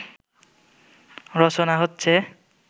রচনা হচ্ছে